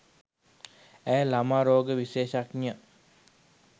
ඇය ළමා රෝග විශේෂඥ